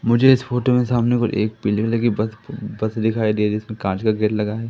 मुझे इस फोटो में सामने को एक बिल्डिंग लगी बस दिखाई दे रही जिसमें कांच का गेट लगा है।